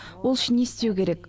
ол үшін не істеу керек